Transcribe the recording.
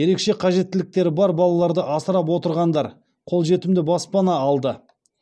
ерекше қажеттіліктері бар балаларды асырап отырғандар қолжетімді баспана алды